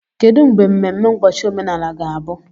Kedu mgbe mmemme ụbọchị omenala ga-abụ?